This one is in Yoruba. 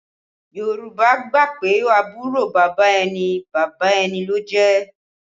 Yorùbá gbà pé àbúrò bàbá ẹni, bàbá ẹni ló jẹ́